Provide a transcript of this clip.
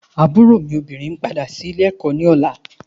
Àbúrò mi obìnrin ńpadà sí ilé ẹ̀kọ́ ní ọ̀la.